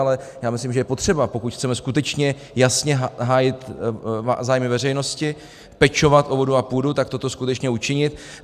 Ale já myslím, že je potřeba, pokud chceme skutečně jasně hájit zájmy veřejnosti, pečovat o vodu a půdu, tak toto skutečně učinit.